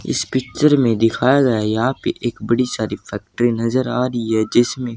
इस पिक्चर में दिखाया गया है यहां पे एक बड़ी सारी फैक्ट्री नजर आ रही है जिसमें--